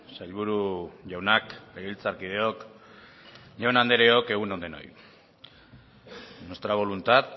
sailburu jaunak legebiltzarkideok jaun andreok egun on denoi nuestra voluntad